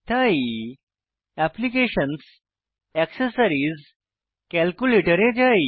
তাই applications accessories calculator এ যাই